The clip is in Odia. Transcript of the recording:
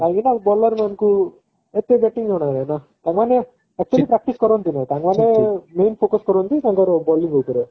କାହିଁକି ନା bowler ମାନଙ୍କୁ ଏତେ bating ଜଣା ନାହିଁ ନା ତା ମାନେ actually practice କରନ୍ତିନି ତାଙ୍କ ମାନେ main focus କରନ୍ତି ତାଙ୍କର bowling ଉପରେ